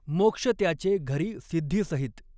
मॊक्ष त्याचॆ घरीं सिद्धीसहित.